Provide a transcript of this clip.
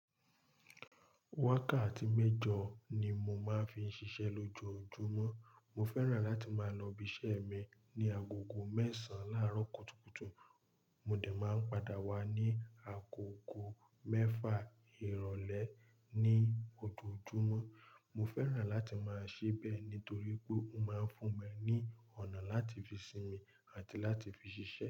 Wákàtí mẹ́jọ ni mo máa ń fi ń ṣiṣẹ́ lójoojúmọ́. Mo fẹ́ràn láti máa lọ ibiṣẹ́ mi ní agogo mẹ́sàn láàárọ̀ kùtùkùtù. Mo de máa ń padà wá ní agogo mẹ́fà ìrọ̀lẹ́ ní ojoojúmọ́. Mo fẹ́ràn láti máa ṣe bẹ́ẹ̀ nítorí pé ó máa ń fún mi ní ọ̀nà láti fi sinmi àti láti fi ṣiṣẹ́